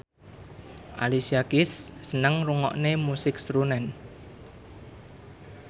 Alicia Keys seneng ngrungokne musik srunen